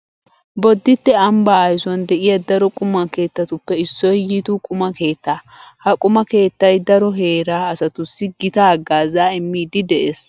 Bodditte ambbaa aysuwan de'iya daro quma keettatuppe issoy yitu quma keettaa. Ha quma keettay daro heeraa asatussi gita haggaazaa immiiddi de'ees.